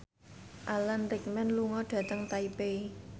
Alan Rickman lunga dhateng Taipei